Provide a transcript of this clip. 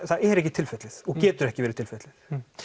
það er ekki tilfellið og getur ekki verið tilfellið